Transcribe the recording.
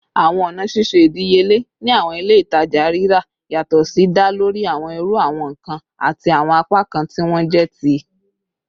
Awọn ọna ṣiṣe idiyele ni awọn ile-itaja rira yatọ si da lori awọn iru awọn nkan ati awọn apakan ti wọn jẹ ti